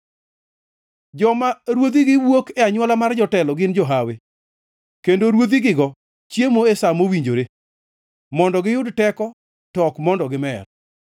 Joma ruodhigo wuok e anywola mar jotelo gin johawi kendo ruodhigigo chiemo e sa mowinjore, mondo giyud teko to ok mondo gimer.